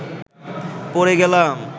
পড়ে গেলাম